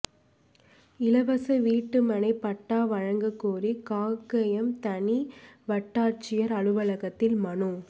இலவச வீட்டுமனைப் பட்டா வழங்கக் கோரி காங்கயம் தனி வட்டாட்சியா் அலுவலகத்தில் மனு